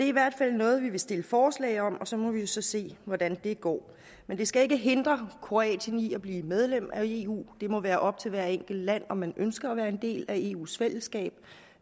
i hvert fald noget vi vil stille forslag om og så må vi jo så se hvordan det går men det skal ikke hindre kroatien i at blive medlem af eu det må være op til hvert enkelt land om man ønsker at være en del af eus fællesskab